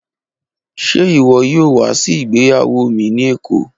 Ṣe iwọ yoo wa si igbeyawo mi ni Eko?